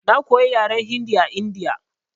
Na koya yaran Hindi a India.